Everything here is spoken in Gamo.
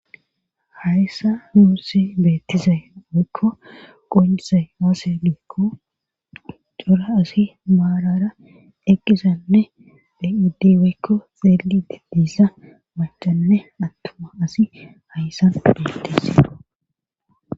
Hayssa muussi beettiza weekko qonsa haaselikko cora asi maalara eqqizanne beiddiwekko xeelididiissa machanne attuma asi hayssan bettis.